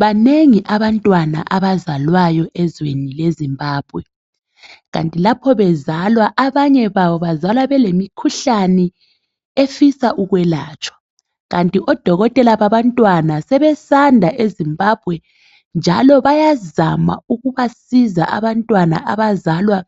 Banengi abantwana abazalwayo elizweni leZimbabwe kanti lapho bezalwa abanye babo bazalwa belemikhuhlane efisa ukwelatshwa kanti odokotela babantwana sebesanda eZimbabwe njalo bayazama ukubasiza abantwana abazalwa